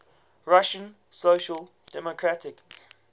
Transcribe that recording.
russian social democratic